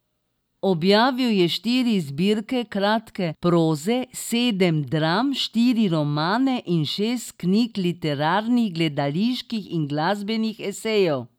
Objavil je štiri zbirke kratke proze, sedem dram, štiri romane in šest knjig literarnih, gledaliških in glasbenih esejev.